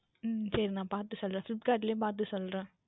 உம் சரி நான் நான் பார்த்து சொல்லுகின்றேன் Flipkart லயே பார்த்து சொல்லுகின்றேன்